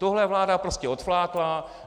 Tohle vláda prostě odflákla.